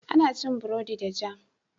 Ana cin burodi da jam.